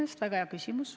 See on väga hea küsimus.